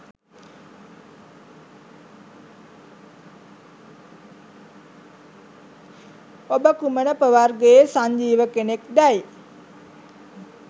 ඔබ කුමන ප්‍රවර්ගයේ සංජීව කෙනෙක්දැයි